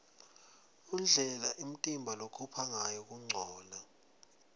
indlela umtimba lokhupha ngayo kuncola